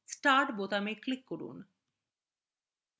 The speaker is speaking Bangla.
start বোতামে click করুন